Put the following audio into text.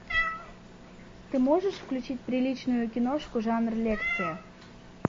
ты можешь включить приличную киношку жанр лекция